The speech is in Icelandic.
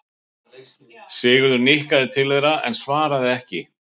Sigurður nikkaði til þeirra en svaraði ekki.